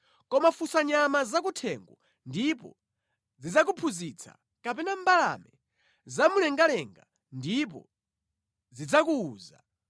“Koma funsa nyama zakuthengo ndipo zidzakuphunzitsa, kapena mbalame zamumlengalenga ndipo zidzakuwuza;